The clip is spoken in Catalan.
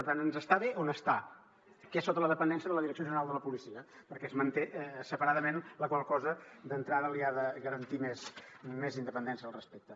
per tant ens està bé on està que és sota la dependència de la direcció general de la policia perquè es manté separadament la qual cosa d’entrada li ha de garantir més independència al respecte